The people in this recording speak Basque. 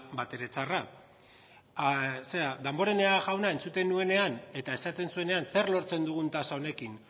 batere txarra zera danborenea jauna entzuten nuenean eta eskatzen zuenean zer lortzen dugun tasa honekin